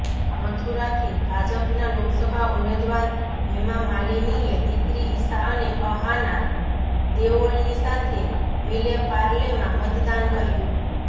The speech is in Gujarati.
મથુરાથી ભાજપના લોકસભા ઉમેદવાર હેમામાલિનીએ દીકરી ઇશા અને અહાના દેઓલની સાથે વિલે પાર્લેમાં મતદાન કર્યું